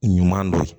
Ɲuman dɔ ye